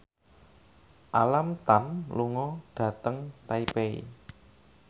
Alam Tam lunga dhateng Taipei